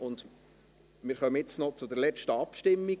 Wir kommen daher jetzt noch zur letzten Abstimmung.